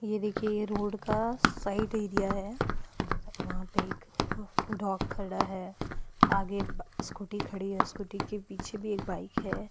ये देखिये ये रोड का साइड एरिया हैं वहा पे एक डॉग खड़ा हैं आगे बा स्कूटी खड़ी हैं स्कूटी के पीछे भी एक बाइक हैं।